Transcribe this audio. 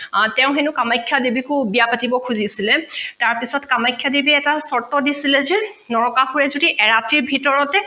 তেঁও হেনো কামাখ্যা দেৱীকো বিয়া পাতিব খোজিচিলে তাৰ পিচত কামাখ্যা দেৱীয়ে চৰ্ত দিচিলে যে নৰকাসুৰে যদি এৰাতিৰ ভিতৰতে